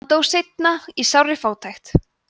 hann dó seinna í sárri fátækt